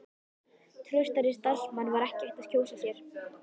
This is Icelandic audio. Traustari samstarfsmann var ekki hægt að kjósa sér.